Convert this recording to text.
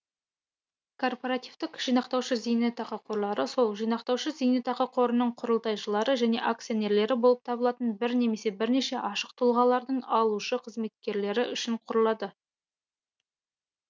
корпоративтік жинақтаушы зейнетақы корлары сол жинақтаушы зейнетақы қорының құрылтайшылары және акционерлері болып табылатын бір немесе бірнеше ашық тұлғалардың алушы қызметкерлері үшін құрылады